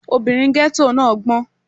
Ọmọbìnrin ghetto náà gbọ́n.